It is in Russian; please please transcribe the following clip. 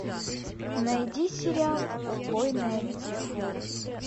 найди сериал убойный отдел